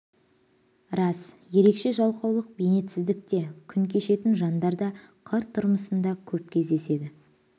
рас ерекше жалқаулық бейнетсіздікте күн кешетін жандар да қыр тұрмысында көп кездеседі